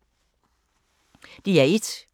DR1